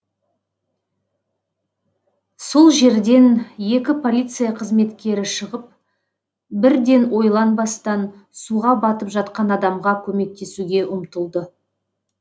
сол жерден екі полиция қызметкері шығып бірден ойланбастан суға батып жатқан адамға көмектесуге ұмтылды